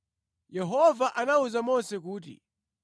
Yehova anawuza Mose kuti,